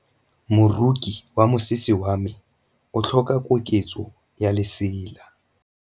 Moroki wa mosese wa me o tlhoka koketsô ya lesela.